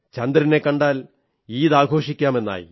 ചന്ദ്രനെ കണ്ടാൽ ഈദ് ആഘോഷിക്കാം എന്നായി